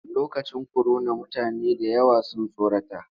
Lokacin korona mutane da yawa sun tsorata.